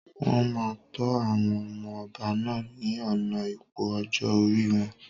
Wọn máa tó àwọn ọmọ ọba náà ni ọ̀nà ipò ọjọ́ orí wọn.